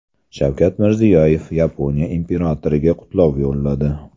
Shavkat Mirziyoyev Yaponiya imperatoriga qutlov yo‘lladi.